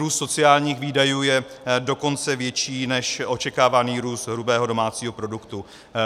Růst sociálních výdajů je dokonce větší než očekávaný růst hrubého domácího produktu.